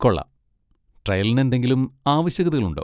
കൊള്ളാം! ട്രയലിന് എന്തെങ്കിലും ആവശ്യകതകളുണ്ടോ?